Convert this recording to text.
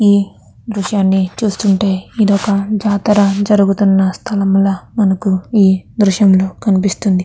ఈ దృశ్యన్ని చూస్తుంటే ఇదొక జాతర జరుగుతున్న స్థలం లా మనకి ఈ దృశ్యం లో కనిపిస్తుంది.